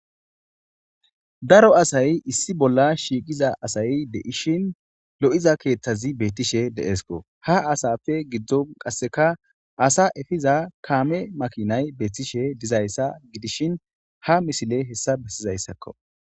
daro asay issi bolla shiiqiza asayi deishin lo7iza keeththazi beettishe deesko ha asafe giddon qasseka asa efiza kaame makinay beettishe dizayssa gidishin ha misile hessa bessizayssakko